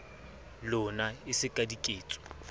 lona e se ka diketso